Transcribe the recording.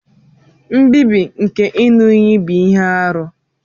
Nbibi nke iṅu-iyi bu ihe-árú.